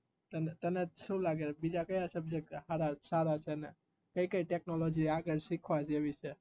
તને શું લાગે બીજા કાયા subject હાર તને સારા કઈ કઈ technology આગળ શીખવા જેવી છે